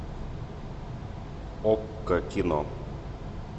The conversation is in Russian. окко кино